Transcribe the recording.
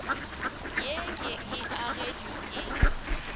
ye ke e agetšwe ke